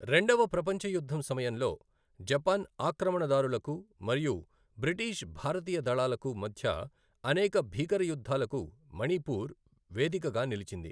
రెండవ ప్రపంచ యుద్ధం సమయంలో, జపాన్ ఆక్రమణదారులకు మరియు బ్రిటీష్ భారతీయ దళాలకు మధ్య అనేక భీకర యుద్ధాలకు మణిపూర్ వేదికగా నిలిచింది.